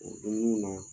O dumuniw na